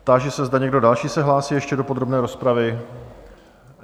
Táži se, zda někdo další se hlásí ještě do podrobné rozpravy?